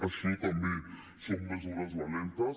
això també són mesures valentes